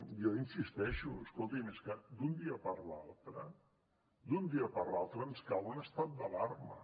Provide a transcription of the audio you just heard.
jo hi insisteixo escolti és que d’un dia per l’altre d’un dia per l’altre ens cau un estat d’alarma